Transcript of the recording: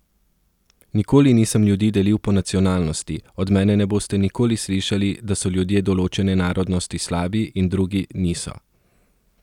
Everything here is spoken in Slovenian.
Nikoli nisem ljudi delil po nacionalnosti, od mene ne boste nikoli slišali, da so ljudje določene narodnosti slabi in drugi niso.